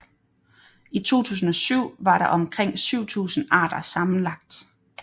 I 2007 var der omkring 7000 arter sammenlagt